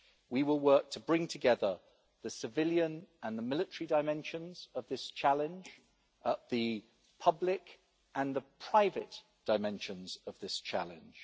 We will work to bring together the civilian and the military dimensions of this challenge and the public and the private dimensions of this challenge.